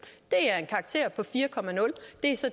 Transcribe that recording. er en karakter på fire